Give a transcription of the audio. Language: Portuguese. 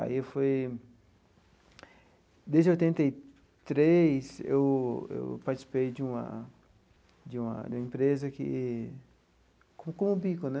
Aí foi... Desde oitenta e três, eu eu participei de uma de uma... De uma empresa que... Como Bico, né?